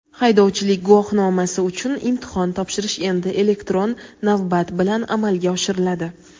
Haydovchilik guvohnomasi uchun imtihon topshirish endi elektron navbat bilan amalga oshiriladi.